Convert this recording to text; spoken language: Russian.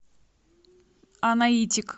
анаитик